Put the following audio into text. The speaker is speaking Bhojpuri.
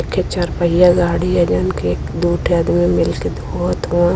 चार पहिया गाडी ह जवन की दू ठे अदमी मिल के धोवत हउवन|